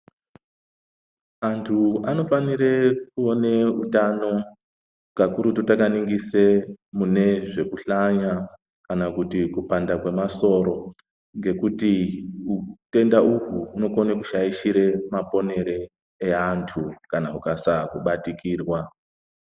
Antu anofanire kuone utano kakurutu takaningise mune zvekuhlanya kana kuti kupanda kwemasoro ngekuti utenda uhu hunokone kushaishire maponere eantu kana ukasaa kubatikirwa.